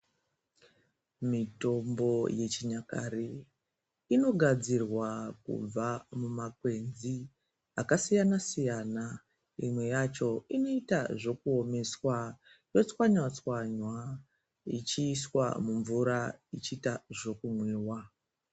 Mitombo yechinyakare inogadzirwa kubva mumakwenzi aksiyana- siyana. Imwe yacho inoita zvekuomeswa, otswanya tswanya ichiiswa mumvura ichiita zvokumwiwa